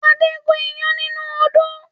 Adé gun iyán nínú odó